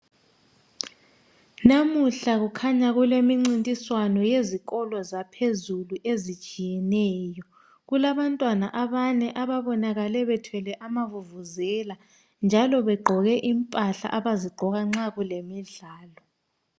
Namuhla kukhanya kulemncintiswano yezikolo zaphezulu ezitshiyeneyo , kulabantwana abane ababonakale bethwele amavuvuzela njalo begqoke impahla abazigqoka nxa kulemidlalo